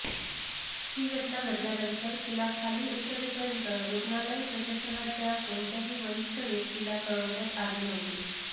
ही घटना घडल्यानंतर तिला खाली उतरवेपर्यंत रुग्णालय प्रशासनाच्या कोणत्याही वरिष्ठ व्यक्तीला कळविण्यात आले नव्हते